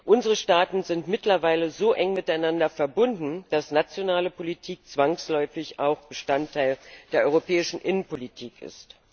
Unsere Staaten sind mittlerweile so eng miteinander verbunden, dass nationale Politik zwangsläufig auch Bestandteil der europäischen Innenpolitik ist.